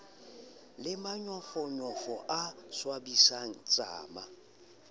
le manyofonyofo a swabisang tsama